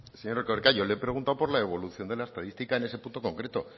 señor erkoreka yo le he preguntado por la evolución de la estadística en ese punto concreto